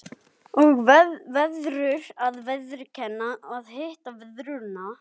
Og verður að viðurkenna að hitt og þetta sá hún.